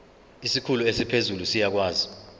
isikhulu esiphezulu siyakwazi